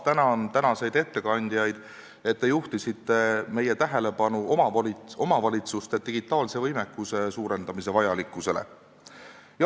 Tänan taas tänaseid ettekandjaid, et te juhtisite meie tähelepanu omavalitsuste digitaalse võimekuse suurendamise vajalikkusele.